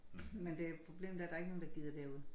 Men det problemet er der er ikke nogen der gider derud